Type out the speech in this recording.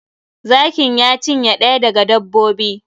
Zakin ya cinye ɗaya daga dbbobin.